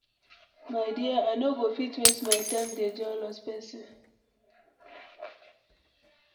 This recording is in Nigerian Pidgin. My dear, I no go fit waste my time dey jealous person.